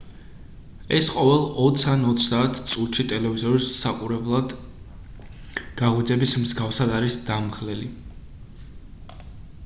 ეს ყოველ ოც ან ოცდაათ წუთში ტელევიზორის საყურებლლად გაღვიძების მსგავსად არის დამღლელი